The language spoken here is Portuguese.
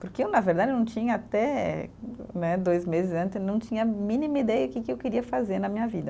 Porque eu, na verdade, eu não tinha até né, dois meses antes, não tinha a mínima ideia que que eu queria fazer na minha vida.